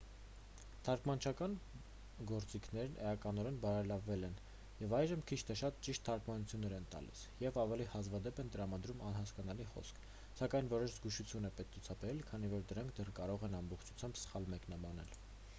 թարգմանչական գործիքներն էականորեն բարելավվել են և այժմ քիչ թե շատ ճիշտ թարգմանություններ են տալիս և ավելի հազվադեպ են տրամադրում անհասկանալի խոսք սակայն որոշ զգուշություն է պետք ցուցաբերել քանի որ դրանք դեռ կարող են ամբողջությամբ սխալ մեկնաբանել։